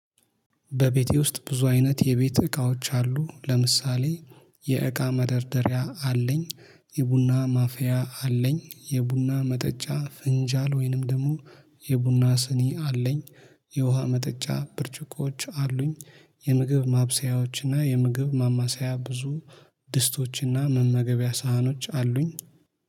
በቤቴ ውስጥ ብዙ አይነት የቤት እቃዎች አሉ ለምሳሌ የእቃ መደርደሪያ አለኝ። የቡና ማፊያ አለኝ የቡና መጠጫ ፍንጃል ወይንም ደግሞ የቡና ስኒ አለኝ። የውሃ መጠጫ ብርጭቆዎች አሉኝ። የምግብ ማብሰያዎችና የምግብ ማማሰያ ብዙ ድስቶችና መመገቢያ ሳህኖች አሉኝ